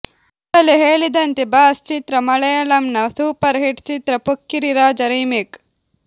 ಮೊದಲೇ ಹೇಳಿದಂತೆ ಬಾಸ್ ಚಿತ್ರ ಮಲೆಯಾಳಂನ ಸೂಪರ್ ಹಿಟ್ ಚಿತ್ರ ಪೊಕ್ಕಿರಿ ರಾಜ ರಿಮೇಕ್